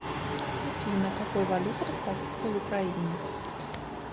афина какой валютой расплатиться в украине